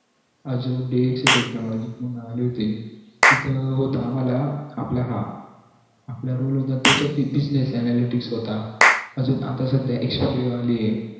अजून तिथं होत आम्हला आपलं हा आपलं role होता defective business analytic अजून आता सध्या